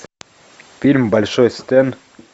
фильм большой стэн